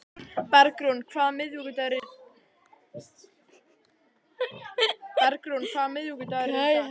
Bergrún, hvaða vikudagur er í dag?